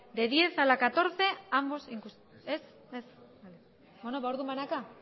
del diez a la catorce ambos inclusive ez beno orduan banaka